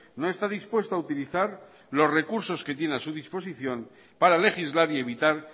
no está dispuesto a utilizar los recursos que tiene a su disposición para legislar y evitar